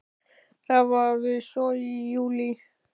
Það var við Sogið í júlí.